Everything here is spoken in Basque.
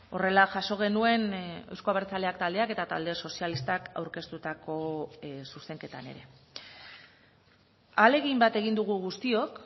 horrela jaso genuen euzko abertzaleak taldeak eta talde sozialistak aurkeztutako zuzenketan ere ahalegin bat egin dugu guztiok